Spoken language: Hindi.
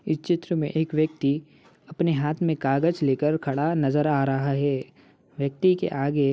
इस चित्र में एक व्यक्ति अपने हाथ में कागज लेकर खड़ा नजर आ रहा है व्यक्ति के आगे --